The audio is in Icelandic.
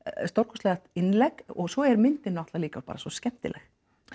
stórkostlegt innlegg og svo er myndin náttúrulega líka bara svo skemmtileg